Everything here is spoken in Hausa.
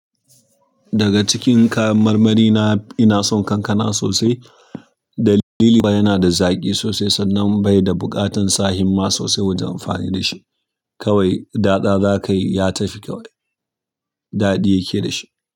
Daga cikin kayan marmari na, ina son ƙankana sosai. Dalili ba yana da zaƙi sosai sannan bai da buƙatar sa himma sosai wajen amfani da shi. Kawai datsa zakayi ya tafi kawai, daɗi yakeda shi.